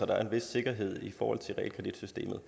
der er en vis sikkerhed i forhold til realkreditsystemet